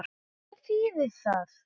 En hvað þýðir það?